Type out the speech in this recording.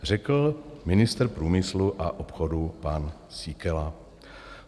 Řekl ministr průmyslu a obchodu pan Síkela.